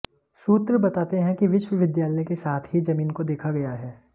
सूत्र बताते हैं कि विश्वविद्यालय के साथ ही जमीन को देखा गया है